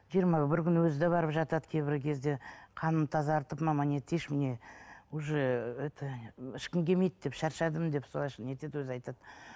жиырма бір күн өзі де барып жатады кейбір кезде қанымды тазартып мама не етейінші мне уже это ішкім келмейді деп шаршадым деп солай не етеді өзі айтады